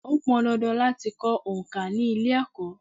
Ó pọn dandan láti kọ òǹkà ni ilé-Ẹ̀kọ́.